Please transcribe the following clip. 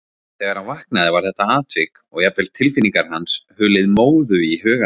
Þegar hann vaknaði var þetta atvik, og jafnvel tilfinningar hans, hulið móðu í huga hans.